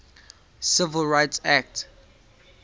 civil rights act